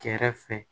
Kɛrɛfɛ